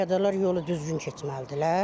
Piyadalar yolu düzgün keçməlidirlər.